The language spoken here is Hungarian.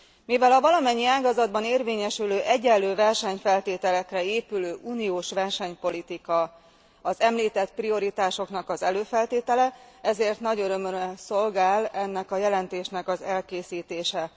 Mivel a valamennyi ágazatban érvényesülő egyenlő versenyfeltételekre épülő uniós versenypolitika az említett prioritásoknak az előfeltétele, ezért nagy örömömre szolgál ennek a jelentésnek az elkészítése.